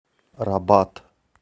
рабат